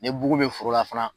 Ne bugu be forola fana